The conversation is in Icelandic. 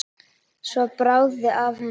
Svo bráði af henni.